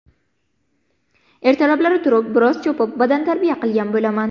Ertalablari turib, biroz chopib, badantarbiya qilgan bo‘laman.